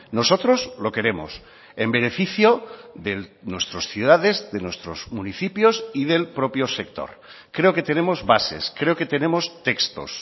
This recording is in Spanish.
nosotros lo queremos en beneficio de nuestras ciudades de nuestros municipios y del propio sector creo que tenemos bases creo que tenemos textos